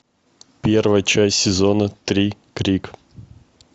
первая часть сезона три крик